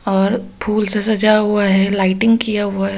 और फूल से सजा हुआ है लाइटिंग किया हुआ है।